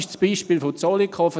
Soviel zum Beispiel Zollikofen.